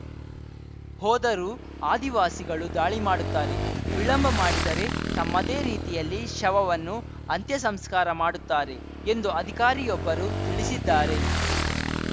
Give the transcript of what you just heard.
ಹೋದರೂ ಆದಿವಾಸಿಗಳು ದಾಳಿ ಮಾಡುತ್ತಾರೆ ವಿಳಂಬ ಮಾಡಿದರೆ ತಮ್ಮದೇ ರೀತಿಯಲ್ಲಿ ಶವವನ್ನು ಅಂತ್ಯಸಂಸ್ಕಾರ ಮಾಡುತ್ತಾರೆ ಎಂದು ಅಧಿಕಾರಿಯೊಬ್ಬರು ತಿಳಿಸಿದ್ದಾರೆ